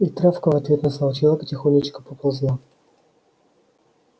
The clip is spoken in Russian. и травка в ответ на слова человека тихонечко поползла